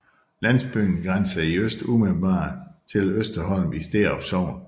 Landsbyen grænser i øst umiddelbart til Østerholm i Sterup Sogn